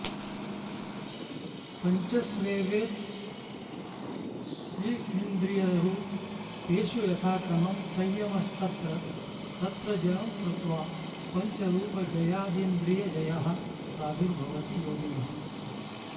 पञ्चस्वेवेत्ष्विन्द्रियरूपेषु यथाक्रमं संयमस्तत्र तत्र जयं कृत्वा पञ्चरूपजयादिन्द्रियजयः प्रादुर्भवति योगिनः